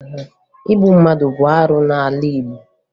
Igbu mmadụ bụ arụ n'ala Igbo